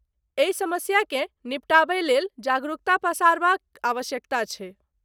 एहि समस्याकेँ निपटाबय लेल जागरुकता पसारबा क आवश्यकता छैक ।